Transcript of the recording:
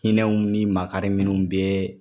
Hinɛw ni makari minun bɛ